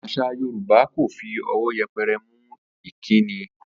Às̩à Yorùbá kò fi o̩wó̩ ye̩pe̩re̩ mú ìkíni